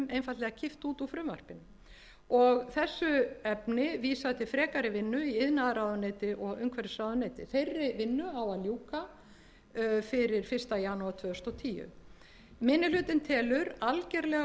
einfaldlega kippt út úr frumvarpinu og þessu efni vísað til frekari vinnu í iðnaðarráðuneyti og umhverfisráðuneyti þeirri vinnu á að ljúka fyrir fyrsta janúar tvö þúsund og tíu minni hlutinn telur algerlega